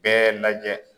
Bɛɛ lajɛ